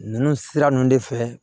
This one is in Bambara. Ninnu sira ninnu de fɛ